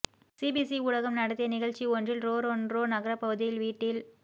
CBC ஊடகம் நடத்திய நிகழ்ச்சி ஒன்றில் ரொறொண்ரோ நகரப் பகுதியில் வீட்டில்